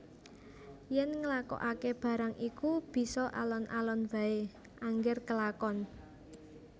Yèn nglakokaké barang iku bisa alon alon waé angger kelakon